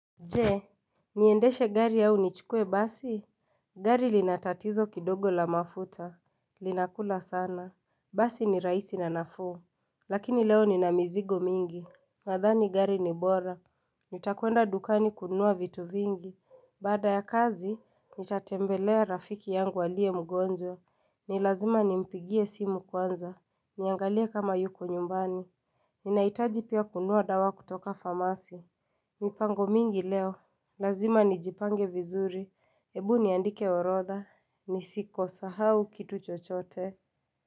Je, niendeshe gari au nichukue basi? Gari lina tatizo kidogo la mafuta. Linakula sana. Basi ni raisi na nafuu Lakini leo nina mizigo mingi. Nadhani gari ni bora. Nitakwenda dukani kununua vitu vingi. Baada ya kazi, nitatembelea rafiki yangu alie mgonjwa. Ni lazima nimpigie simu kwanza. Niangalie kama yuko nyumbani. Ninaitaji pia kununua dawa kutoka famasi mipango mingi leo, lazima nijipange vizuri, ebu niandike orodha, nisiko sahau kitu chochote.